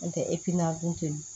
N'o tɛ